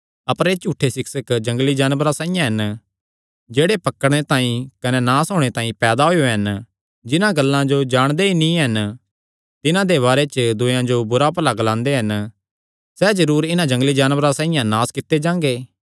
अपर एह़ झूठे सिक्षक जंगली जानवरां साइआं हन जेह्ड़े पकड़णे तांई कने नास होणे तांई पैदा होएयो हन जिन्हां गल्लां जो जाणदे ई नीं हन तिन्हां दे बारे च दूयेयां जो बुरा भला ग्लांदे हन सैह़ जरूर इन्हां जंगली जानवरां साइआं नास कित्ते जांगे